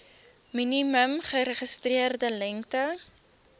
minimum geregistreerde lengte